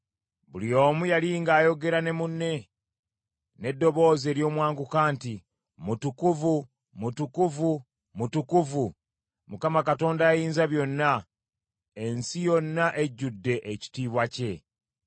Buli omu yali ng’ayogera ne munne n’eddoboozi ery’omwanguka nti, “Mutukuvu, mutukuvu, mutukuvu, Mukama Katonda Ayinzabyonna: ensi yonna ejjudde ekitiibwa kye.”